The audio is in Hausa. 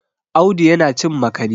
Audu yana cin makani